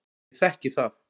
Ég þekki það.